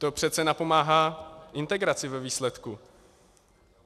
To přece napomáhá integraci ve výsledku.